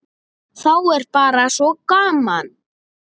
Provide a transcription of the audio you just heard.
Þá er bara svo gaman.